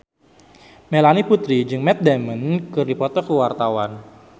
Melanie Putri jeung Matt Damon keur dipoto ku wartawan